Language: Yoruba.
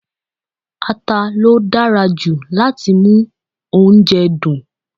Ata ló dára jù láti mú oúnjẹ dùn.